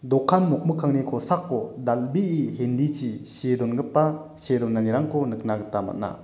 dokan nokmikkangni kosako dal·bee hindi chi see dongipa see donanirangko nikna gita man·a.